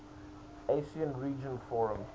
asean regional forum